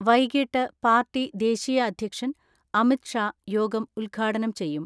വൈകിട്ട് പാർട്ടി ദേശീയ അധ്യക്ഷൻ അമിത്ഷാ യോഗം ഉദ്ഘാടനം ചെയ്യും.